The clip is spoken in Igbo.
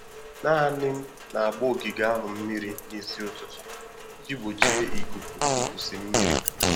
Naanị m na-agba ogige ahụ mmiri n'isi ụtụtụ iji gbochie ikuku ikusi mmiri.